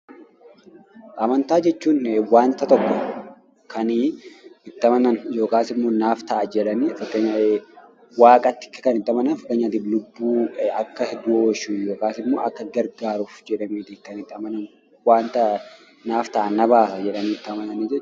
Amantaa jechuun wanta tokko kan itti amanan naaf ta'a jedhaniiti. Fakkeenyaaf Waaqatti kan amanan Akka lubbuu du'a oolchu yookiin immoo akka gargaaruuf jedhamee kan itti amanamuu dha. Wanta naaf ta'a; na baasa jedhanii itti amananii dha.